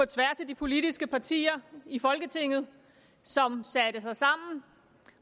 tværs af de politiske partier i folketinget som satte sig sammen